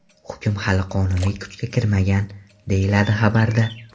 Hukm hali qonuniy kuchga kirmagan, deyiladi xabarda.